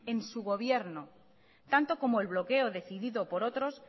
en su gobierno tanto como el bloque decidido por otros